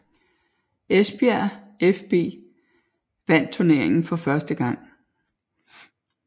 Esbjerg fB vandt turneringen for første gang